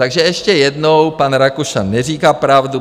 Takže ještě jednou, pan Rakušan neříká pravdu.